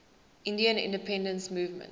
indian independence movement